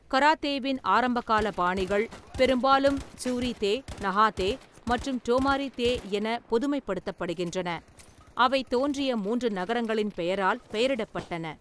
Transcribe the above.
கராத்தேவின் ஆரம்பகால பாணிகள் பெரும்பாலும் சூரி-தே, நஹா-தே, மற்றும் டோமாரி-தே என பொதுமைப்படுத்தப்படுகின்றன, அவை தோன்றிய மூன்று நகரங்களின் பெயரால் பெயரிடப்பட்டன.